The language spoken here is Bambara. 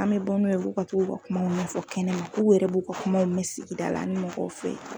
An be bɔ n'u ye b'u ka t'u ka kumaw fɔ kɛnɛma k'u yɛrɛ b'u ka kumaw mɛn sigida la an ni mɔgɔw fɛ.